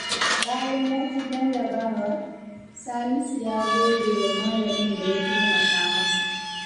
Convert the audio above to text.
Bayan ya ci jarrabawa, Salisu ya gode wa malamin da ya taimaka masa.